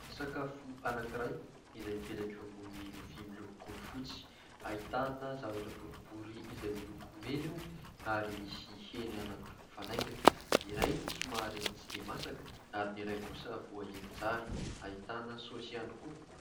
Sakafo anankiray izay mipetraka eo ambony lovia miloko fotsy, ahitana zavatra boribory izay miloko mena eo ary misy hena anankiroa mifanaingina, ny iray somary tsy dia masaka ary ny iray kosa voahendy tsara, ahitana saosy ihany koa.